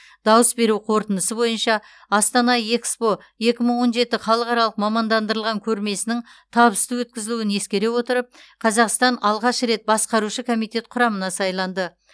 дауыс беру қорытындысы бойынша астана экспо екі мың он жеті халықаралық мамандандырылған көрмесінің табысты өткізілуін ескере отырып қазақстан алғаш рет басқарушы комитет құрамына сайланды